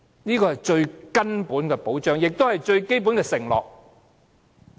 這是最根本的保障，也是最基本的承諾。